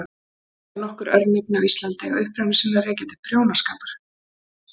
Já, nokkur örnefni á Íslandi eiga uppruna sinn að rekja til prjónaskapar.